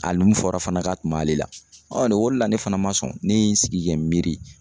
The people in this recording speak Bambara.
Hali mun fɔra fana ka tun b'ale la nin o de la ne fana ma sɔn ne ye n sigi kɛ miiri.